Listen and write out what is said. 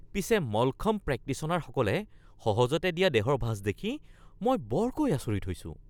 পিছে মলখম্ব প্ৰেক্টিশ্যনাৰসকলে সহজতে দিয়া দেহৰ ভাঁজ দেখি মই বৰকৈ আচৰিত হৈছোঁ!